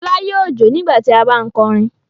Fọlá yóò jó nígbà tí a bá ń kọrin.